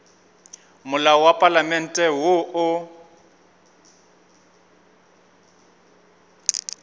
molao wa palamente woo o